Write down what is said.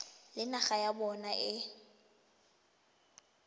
le naga ya bona e